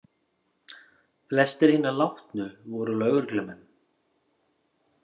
Flestir hinna látnu voru lögreglumenn